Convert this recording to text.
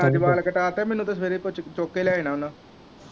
ਜ ਮੈਂ ਅੱਜ ਵਾਲ ਕਟਾਤੇ ਮੈਨੂੰ ਤੇ ਸਵੇਰੇ ਕੁੱਛੜ ਚੁੱਕ ਕ ਲੇ ਜਾਣਾ ਉਹਨਾਂ।